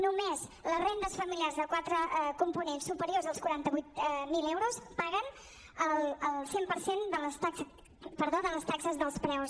només les rendes familiars de qua·tre components superiors als quaranta vuit mil euros paguen el cent per cent de les taxes dels preus